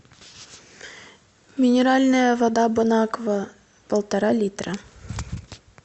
минеральная вода бонаква полтора литра